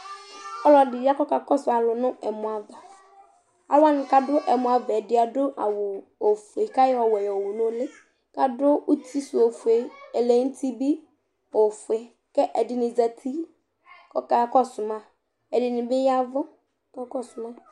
Ɔlɔɖɩ ya kɔka kɔsu alu nu ɛmɔ ava Alu wanɩ kaɖu ɛmɔ ava yɛ bɩ aɖu awu ofoe ka yɔ ɔwɛ yo wu nu ulɩ, kaɖu utɩ su ofoe, ɛlǝ nutɩ bɩ ofoe, Kɛ ɛɖɩnɩ zatɩ ɔka kɔsu ma Ɛɖɩnɩ bɩ yavu kɔka kɔ su ma